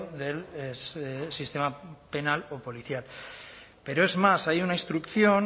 del sistema penal o policial pero es más hay una instrucción